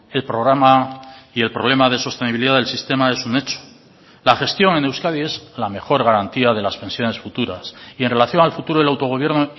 el programa y el problema de sostenibilidad del sistema es un hecho la gestión en euskadi es la mejor garantía de las pensiones futuras y en relación al futuro del autogobierno